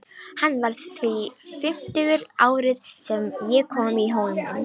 Hann varð því fimmtugur árið sem ég kom í Hólminn.